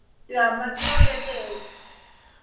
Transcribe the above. আমার দিয়েও lattest